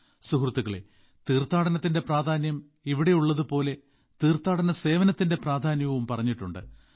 സുഹൃത്തുക്കളെ തീർത്ഥാനടത്തിന്റെ പ്രാധാന്യം ഇവിടെയുള്ളതുപോലെ തീർത്ഥാനട സേവനത്തിന്റെ പ്രാധാന്യവും പറഞ്ഞിട്ടുണ്ട്